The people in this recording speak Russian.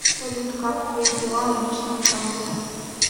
салют как твои дела на личном фронте